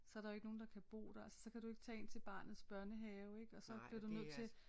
Så er der jo ikke nogen der kan bo der altså så kan du ikke tage ind til barnets børnehave ik og så bliver du nødt til